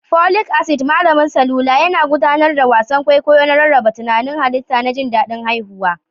Folic acid, malamin salula, yana gudanar da wasan kwaikwayo na rarraba tantanin halitta da jin daɗin haihuwa.